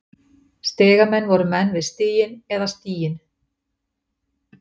Stigamenn voru menn við stiginn eða stíginn.